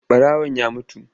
Ɓarawan ya mutu.